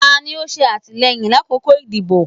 Tani o ṣe atilẹyin lakoko idibo?